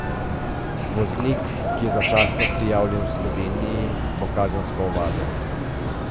Voznik, ki je začasno prijavljen v Sloveniji, bo kazensko ovaden.